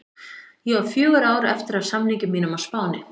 Ég á fjögur ár eftir af samningi mínum á Spáni.